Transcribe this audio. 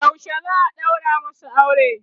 yaushe za'a ɗaura masu aure?